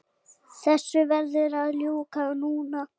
Þessu verður að ljúka núna